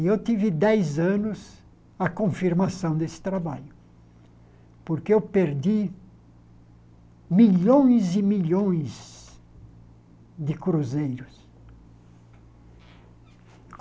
E eu tive dez anos a confirmação desse trabalho, porque eu perdi milhões e milhões de cruzeiros.